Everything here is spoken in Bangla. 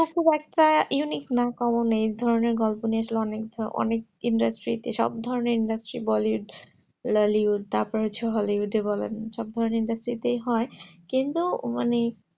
গল্প খুব একটা unique না common এ ধরো নিয়ে গল্প নিয়েছিল অনেক industry সব ধরণের industry তারপর হচ্ছে bollywood lollywood বলেন সব ধরণের hollywood তাই হয় কিন্তু মানে